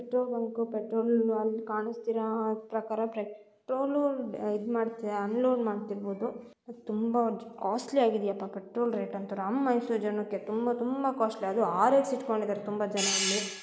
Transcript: Petrol bunk petrol ಅಲ್ಲಿ ಕಾಣಿಸ್ತಾ ಇರೋ ಪ್ರಕಾರ ಪೆಟ್ರೋಲ್ ಇದು ಮಾಡ್ತಿರ ಅನ್ಲೋಡ್ ಮಾಡ್ತಾ ಇರ್ಬಹುದು ತುಂಬಾ ಕಾಸ್ಟ್ಲಿ ಆಗಿದೆ ಅಪ್ಪ ಪೆಟ್ರೋಲ್ ರೇಟ್ ಅಂತೂ ನಮ್ಮ ಮೈಸೂರು ಜನಕ್ಕೆ ತುಂಬಾ ತುಂಬಾ ಕಾಸ್ಟ್ಲಿ ಆಗಿದೆ. ಅದು ಆರೆಸ್ ಇಟ್ಕೊಂಡಿದ್ದಾರೆ ತುಂಬಾ ಜನ ಅಲ್ಲಿ --